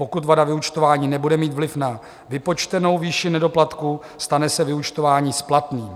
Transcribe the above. Pokud vada vyúčtování nebude mít vliv na vypočtenou výši nedoplatku, stane se vyúčtování splatným.